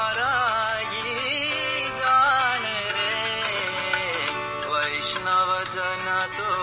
song